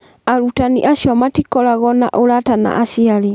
Arutani acio matikoragwo na ũrata na aciari.